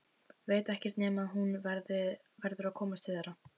Veit ekkert nema að hún verður að komast til þeirra.